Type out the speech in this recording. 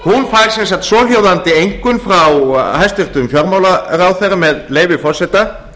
stofnun fær sem sagt svohljóðandi einkunn frá hæstvirtum fjármálaráðherra með leyfi forseta